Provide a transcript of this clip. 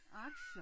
Aktier!